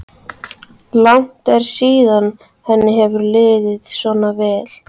Langt er síðan henni hefur liðið svona vel.